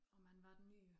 Og man var den nye